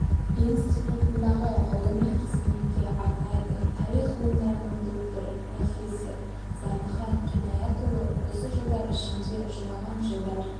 институтындағы ғылыми қызметке арнайды тарих ғылымдарының докторы профессор зардыхан қинаятұлы осы жылдар ішінде жылаған жылдар